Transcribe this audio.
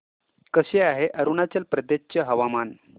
कसे आहे अरुणाचल प्रदेश चे हवामान